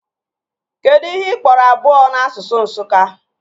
Kedụ ihe ị kpọrọ abụọ n'asụsụ Nsụka?